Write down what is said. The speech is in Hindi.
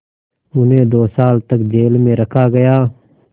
उन्हें दो साल तक जेल में रखा गया